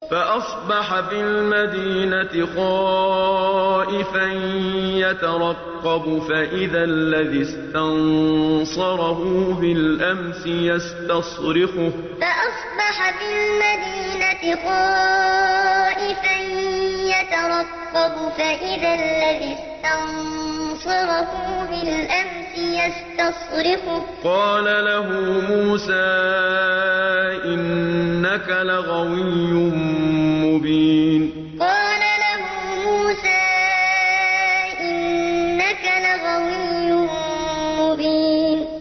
فَأَصْبَحَ فِي الْمَدِينَةِ خَائِفًا يَتَرَقَّبُ فَإِذَا الَّذِي اسْتَنصَرَهُ بِالْأَمْسِ يَسْتَصْرِخُهُ ۚ قَالَ لَهُ مُوسَىٰ إِنَّكَ لَغَوِيٌّ مُّبِينٌ فَأَصْبَحَ فِي الْمَدِينَةِ خَائِفًا يَتَرَقَّبُ فَإِذَا الَّذِي اسْتَنصَرَهُ بِالْأَمْسِ يَسْتَصْرِخُهُ ۚ قَالَ لَهُ مُوسَىٰ إِنَّكَ لَغَوِيٌّ مُّبِينٌ